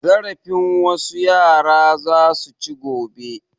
Zarafin wasu yara za su ci gobe.